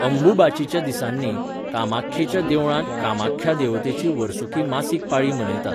अंबुबाचीच्या दिसांनी, कामाख्येच्या देवळांत कामाख्या देवतेची वर्सुकी मासीक पाळी मनयतात.